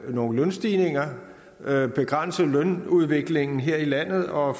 nogle lønstigninger og begrænse lønudviklingen her i landet for at